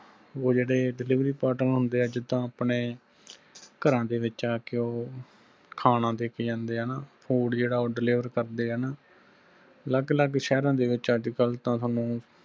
ਉਹ ਜੇੜੇ delivery partner ਹੁੰਦੇ ਆ ਜਿਦਾਂ ਆਪਣੇ ਘਰਾਂ ਦੇ ਵਿਚ ਆਕੇ ਉਹ ਖਾਣਾ ਦੇਕੇ ਜਾਂਦੇ ਆ ਨਾਂ food ਜੇੜਾ ਉਹ deliver ਕਰਦੇ ਨਾਂ ਅਲੱਗ ਅਲੱਗ ਸ਼ਹਿਰਾਂ ਦੇ ਸਾਨੂੰ